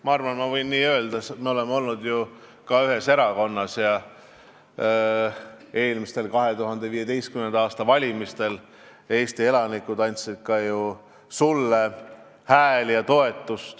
Ma arvan, et ma võin nii öelda, sest me oleme ühes erakonnas olnud ja eelmistel, 2015. aasta valimistel Eesti elanikud andsid ka sulle hääli.